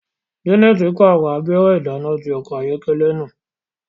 Janet parọ abẹrẹ idana ti ọkọ ayọkẹlẹ náà